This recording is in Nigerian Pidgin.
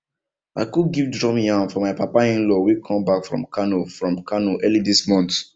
i cook gift drum yam for my papainlaw wey come back from kano from kano early this month